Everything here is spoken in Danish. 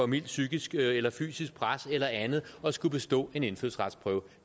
mildt psykisk eller fysisk pres eller andet at skulle bestå en indfødsretsprøve